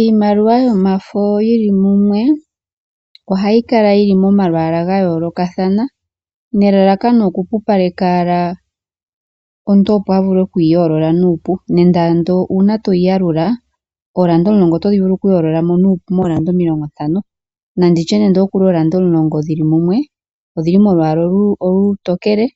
Iimaliwa yomafo yi li mumwe ohayi kala yi li momalwaala ga yoolokathana nelalakano okupupaleka, opo omuntu a vule oku yi yoolola nuupu, nenge uuna to yi yalula ooranda omulongo oto vulu oku dhi yoolola mo nuupu mooranda omilongontano. Oshiholelwa ooranda omulongo odhi li molwaala olutekele,